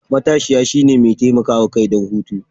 matashiya, shine mai taimakawa kai don hutu.